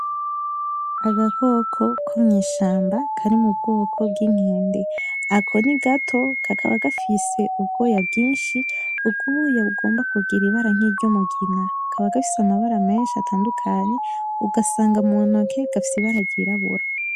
Agakoko ko mw'ishamba kari mu bwoko bw'inkende. Ako ni gato kakaba gafise ubwoya bwinshi, ubwoya bugomba kugira ibara nkiry'umugina. Kaba gafise amabara menshi atandukanye, ugasanga muntoke gafise ibara ryirabura.